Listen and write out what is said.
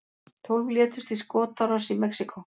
Tólf létust í skotárás í Mexíkó